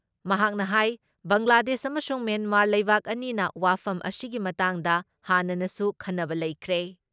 ꯃꯍꯥꯛꯅ ꯍꯥꯏ ‑ ꯕꯪꯒ꯭ꯂꯥꯗꯦꯁ ꯑꯃꯁꯨꯡ ꯃ꯭ꯌꯦꯟꯃꯥꯔ ꯂꯩꯕꯥꯛ ꯑꯅꯤꯅ ꯋꯥꯐꯝ ꯑꯁꯤꯒꯤ ꯃꯇꯥꯡꯗ ꯍꯥꯟꯅꯅꯁꯨ ꯈꯟꯅꯕ ꯂꯩꯈ꯭ꯔꯦ ꯫